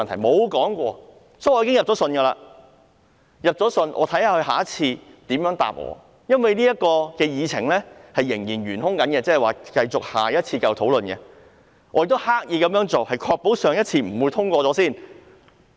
所以，我已經就此去信局方，看看他下次如何回答我，因為這項議程仍然尚待處理，下次會繼續討論，我也是刻意這樣做的，以確保上次不會先行通過。